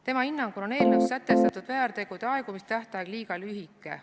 Tema hinnangul on eelnõus sätestatud väärtegude aegumise tähtaeg liiga lühike.